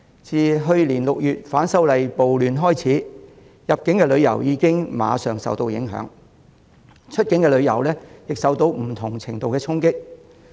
自去年6月反修例暴亂開始，入境旅遊已經即時受到影響，而出境旅遊亦受到不同程度的衝擊。